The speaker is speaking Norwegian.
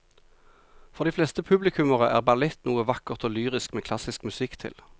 For de fleste publikummere er ballett noe vakkert og lyrisk med klassisk musikk til.